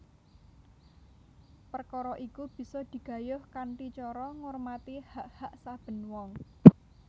Perkara iku bisa digayuh kanthi cara ngurmati hak hak saben wong